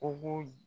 O b'o